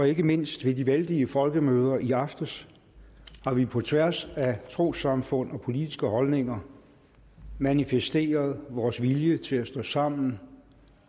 ikke mindst ved de vældige folkemøder i aftes har vi på tværs af trossamfund og politiske holdninger manifesteret vores vilje til at stå sammen